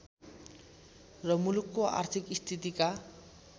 र मुलुकको आर्थिक स्थितिका